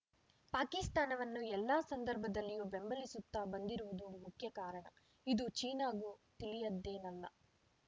ಪಾಕಿಸ್ತಾನವನ್ನು ಎಲ್ಲ ಸಂದರ್ಭದಲ್ಲಿಯೂ ಬೆಂಬಲಿಸುತ್ತಾ ಬಂದಿರುವುದು ಮುಖ್ಯ ಕಾರಣ ಇದು ಚೀನಾಗೂ ತಿಳಿಯದ್ದೇನಲ್ಲ